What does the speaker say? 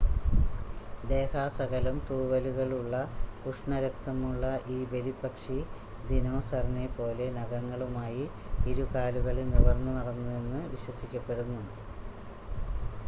ദേഹാസകലം തൂവലുകളുള്ള ഉഷ്ണരക്തമുള്ള ഈ ബലിപ്പക്ഷി ദിനോസറിനെ പോലെ നഖങ്ങളുമായി ഇരുകാലുകളിൽ നിവർന്നു നടന്നുവെന്ന് വിശ്വസിക്കപ്പെടുന്നു